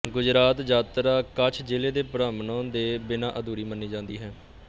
ਗੁਜਰਾਤ ਯਾਤਰਾ ਕੱਛ ਜਿਲ੍ਹੇ ਦੇ ਭ੍ਰਮਣੋ ਦੇ ਬਿਨਾਂ ਅਧੂਰੀ ਮੰਨੀ ਜਾਂਦੀ ਹੈ